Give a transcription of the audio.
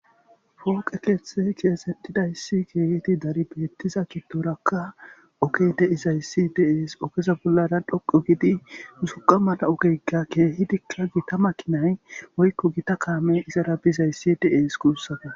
Pooqe keeththe keyesettidayssi keehedi dari beettiza giddoraka ogey de'izayssi de'es, ogeza bollara dhoqo giidi uzuqa mala ogeyka keehidikka gita makinay woykko gita kaame izara bizayssi de'es kuussako